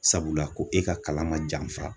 Sabula ko e ka kalan ma janfa